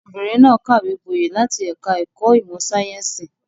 Ọmọbìnrin náà kàwé gboyè láti ẹ̀ka-ẹ̀kọ́ ìmọ̀-sáyẹ́ńsì.